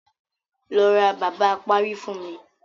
Lọ ra bàbá apárí fún mi.